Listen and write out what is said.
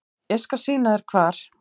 Ég skal sýna þér hvar.